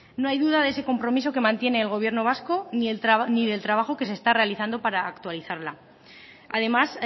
no hay duda de ese compromiso que mantiene el gobierno vasco ni del trabajo que se está realizando para actualizarla además